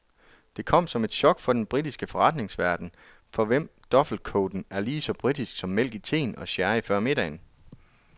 Det kom som et chok for den britiske forretningsverden, for hvem duffelcoaten er lige så british som mælk i teen og sherry før middagen.